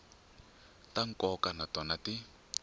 ta nkoka na tona ti